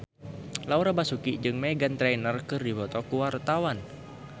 Laura Basuki jeung Meghan Trainor keur dipoto ku wartawan